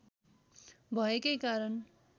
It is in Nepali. भएकै कारण